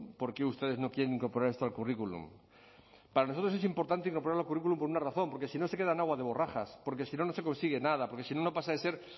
por qué ustedes no quieren incorporar esto al currículum para nosotros es importante incorporarlo en el currículum por una razón porque si no se queda en agua de borrajas porque si no no se consigue nada porque si no no pasa de ser